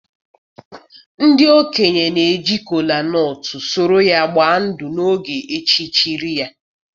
ndị okenye na-eji kola nut soro ya gbaa ndụ n’oge echichiri ya.